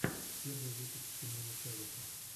первый выпуск тимона чавеса